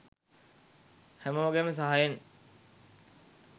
හැමෝගෙම සහයෙන්